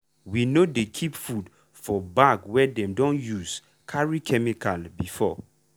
we no dey keep food for bag wey dem don use carry chemical before.